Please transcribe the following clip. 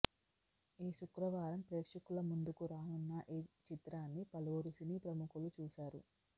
ఈ శుక్రవారం ప్రేక్షకుల ముందుకు రానున్న ఈ చిత్రాన్ని పలువురు సినీ ప్రముఖులు చూశారు